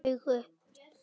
Lilli rak upp stór augu.